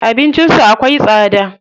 Abincin su akwai tsada.